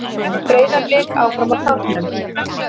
Breiðablik áfram á toppnum